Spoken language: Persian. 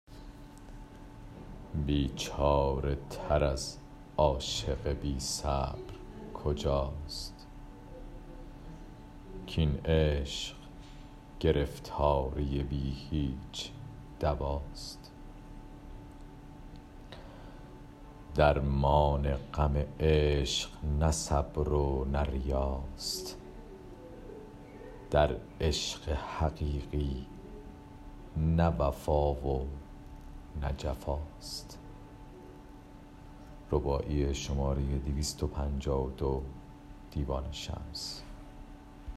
بیچاره تر از عاشق بیصبر کجاست کاین عشق گرفتاری بی هیچ دواست درمان غم عشق نه صبر و نه ریاست در عشق حقیقی نه وفا و نه جفاست